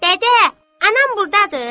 Dədə, anam burdadır?